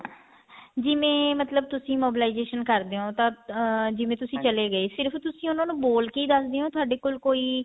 ਜਿਵੇਂ ਮਤਲਬ ਤੁਸੀਂ mobilization ਕਰਦੇ ਹੋ ਤਾਂ ਅਮ ਜਿਵੇਂ ਤੁਸੀਂ ਚਲੇ ਗਏ ਸਿਰਫ ਤੁਸੀਂ ਉਹਨਾ ਨੂੰ ਬੋਲ ਕੇ ਦੱਸਦੇ ਹੋ ਜਾਂ ਥੋਡੇ ਕੋਲ ਕੋਈ